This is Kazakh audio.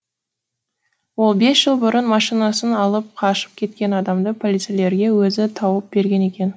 ол бес жыл бұрын машинасын алып қашып кеткен адамды полицейлерге өзі тауып берген екен